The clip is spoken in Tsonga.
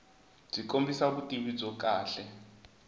byi kombisa vutivi byo kahle